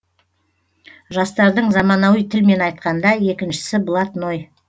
жастардың заманауи тілмен айтқанда екіншісі блатной